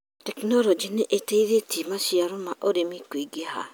Tekinoronjĩ nĩ ĩteithĩtie maciaro ma ũrĩmi kũingĩha.